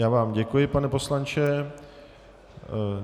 Já vám děkuji, pane poslanče.